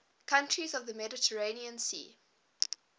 countries of the mediterranean sea